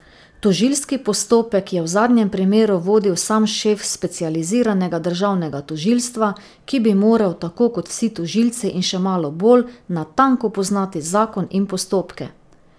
Tožilski postopek je v zadnjem primeru vodil sam šef specializiranega državnega tožilstva, ki bi moral, tako kot vsi tožilci in še malo bolj, natanko poznati zakon in postopke.